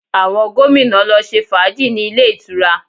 Àwọn gómìnà lọ ṣe fàájì ní ilé ìtura